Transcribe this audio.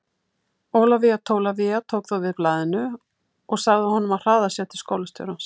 Ólafía Tólafía tók þó við blaðinu og sagði honum að hraða sér til skólastjórans.